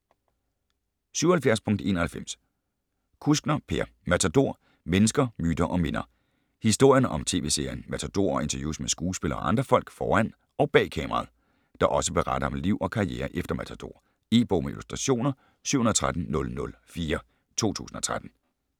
77.91 Kuskner, Per: Matador: mennesker, myter & minder Historien om tv-serien Matador og interviews med skuespillere og andre folk foran og bag kameraet, der også beretter om liv og karriere efter Matador. E-bog med illustrationer 713004 2013.